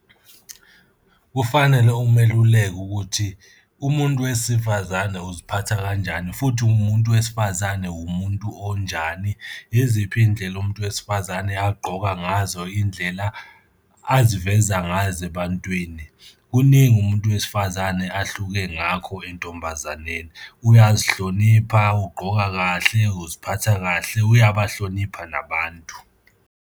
Kufanele umeluleki ukuthi, umuntu wesifazane uziphatha kanjani futhi umuntu wesifazane wumuntu onjani. Yiziphi iy'ndlela umuntu wesifazane agqoka ngazo, iy'ndlela aziveza ngazo ebantwini? Kuningi umuntu wesifazane ahluke ngakho entombazaneni, uyazihlonipha, ugqoka kahle, uziphatha kahle, uyabahlonipha nabantu.